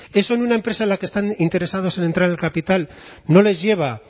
eso en una empresa en la que están interesados en entrar el capital no les lleva